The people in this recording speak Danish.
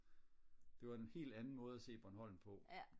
det var en hel anden måde og se Bornholm på